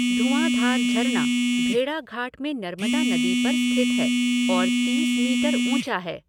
धुआँधार झरना भेड़ाघाट में नर्मदा नदी पर स्थित है और तीस मीटर ऊँचा है।